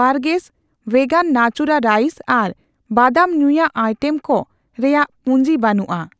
Burgers ᱵᱷᱮᱜᱟᱱ ᱱᱟᱪᱩᱨᱟ rice ᱟᱨ ᱵᱟᱫᱟᱢ ᱧᱩᱭᱟᱜ ᱟᱭᱴᱮᱢ ᱠᱩ ᱨᱮᱭᱟᱜ ᱯᱩᱧᱡᱤ ᱵᱟᱹᱱᱩᱜᱼᱟ ᱾